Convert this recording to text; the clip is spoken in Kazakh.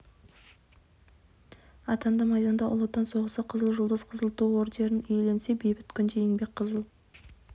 атанды майданда ұлы отан соғысы қызыл жұлдыз қызыл ту ордендерін иеленсе бейбіт күнде еңбек қызыл